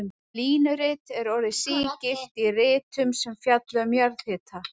Þetta línurit er orðið sígilt í ritum sem fjalla um jarðhita.